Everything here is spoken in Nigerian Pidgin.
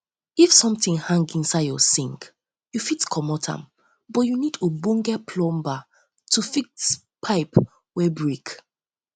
if something hang inside your sink you fit comot am but you need ogbonge plumber need ogbonge plumber to fix pipe wey um break